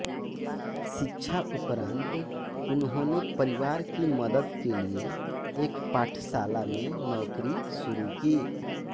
शिक्षा उपरान्त उन्होंने परिवार की मदद के लिए एक पाठशाला में नौकरी शुरू की